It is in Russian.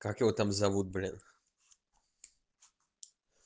как его там зовут блин